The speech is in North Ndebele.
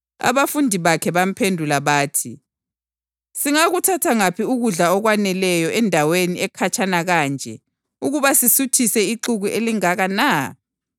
Abafundi bakhe bamphendula bathi, “Singakuthatha ngaphi ukudla okwaneleyo endaweni ekhatshana kanje ukuba sisuthise ixuku elingaka na?”